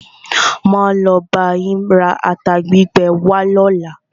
Máa lo bá yín ra ata gbígbẹ wá lọ́la.